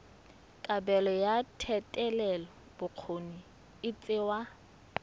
kabelo ya thetelelobokgoni e tsewa